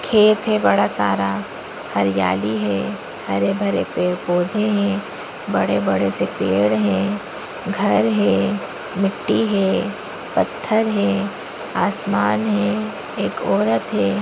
खेत है बड़ा सारा हरियाली है हरे-भरे पेड़-पौधे हैं बड़े-बड़े से पेड़ हैं घर हैं मिट्टी है पत्थर हैं आसमान है एक औरत है।